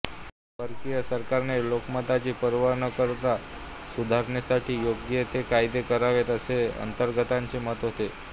परकीय सरकारने लोकमताची पर्वा न करता सुधारणेसाठी योग्य ते कायदे करावेत असे आगरकरांचे मत होते